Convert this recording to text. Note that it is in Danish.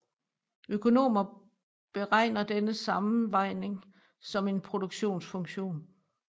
Økonomer beregner denne sammenvejning som en produktionsfunktion